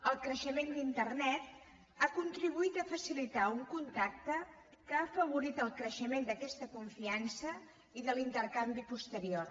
el creixement d’internet ha contribuït a facilitar un contacte que ha afavorit el creixement d’aquesta confiança i de l’intercanvi posterior